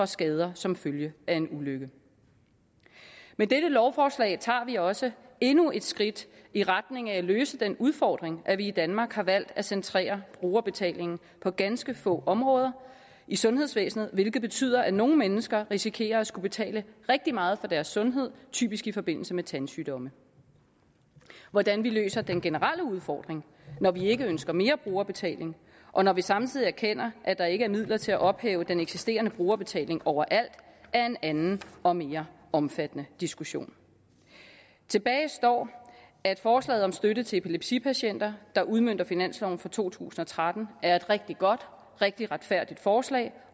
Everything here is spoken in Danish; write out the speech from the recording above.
skader som følge af en ulykke med dette lovforslag tager vi også endnu et skridt i retning af at løse den udfordring at vi i danmark har valgt at centrere brugerbetaling på ganske få områder i sundhedsvæsenet hvilket betyder at nogle mennesker risikerer at skulle betale rigtig meget for deres sundhed typisk i forbindelse med tandsygdomme hvordan vi løser den generelle udfordring når vi ikke ønsker mere brugerbetaling og når vi samtidig erkender at der ikke er midler til at ophæve den eksisterende brugerbetaling overalt er en anden og mere omfattende diskussion tilbage står at forslaget om støtte til epilepsipatienter der udmønter finansloven for to tusind og tretten er et rigtig godt rigtig retfærdigt forslag